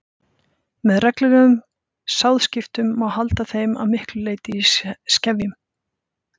Með reglulegum sáðskiptum má halda þeim að miklu leyti í skefjum.